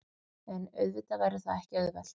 En auðvitað verður það ekki auðvelt